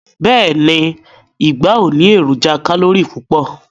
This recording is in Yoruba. Beeni, igba o ni eroja kalori pupo